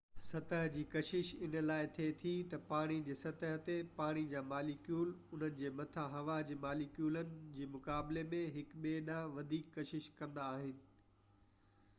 سطح جي ڪشش ان لاءِ ٿئي ٿي تہ پاڻي جي سطح تي پاڻي جا ماليڪيول انهن جي مٿي هوا جي ماليڪيولن جي مقابلي ۾ هڪ ٻئي ڏانهن وڌيڪ ڪشش ڪندا آهن